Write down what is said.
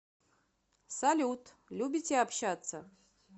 салют любите общаться